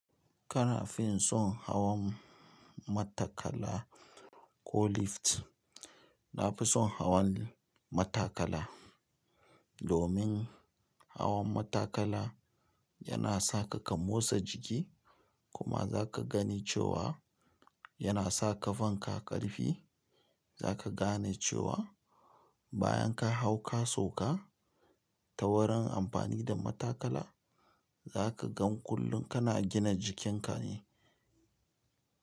Kana fin son hawan matakala ko lift? Na fi son hawan matakala. Domin hawan matakala yana saka ka motsa jiki kuma za ka gane cewa yana sa ka kafanka ƙarfi. Za ka gane cewa bayan ka hau ka sauka ta wurin amfani da matakala, za ka gan kullum kana gina jikinka ne.